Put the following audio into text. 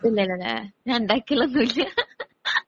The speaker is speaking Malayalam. പിന്നെയില്ലാ ഞാൻ ഉണ്ടാക്കി ഉള്ളതൊന്നും ഇല്ല